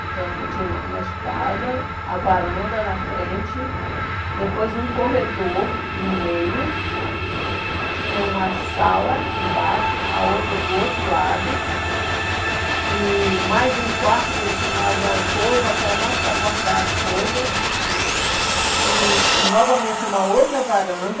Então, tinha uma uma escada, a varanda na frente, depois um corredor no meio, tinha uma sala embaixo, a outra do outro lado, e mais um quarto que eles chamavam alcova, que era mais para guardar as coisas, hum, e novamente uma outra varanda,